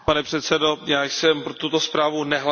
Já jsem pro tuto zprávu nehlasoval.